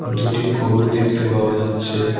দুটি গরু দেখতে পাওয়া যাচ্ছে।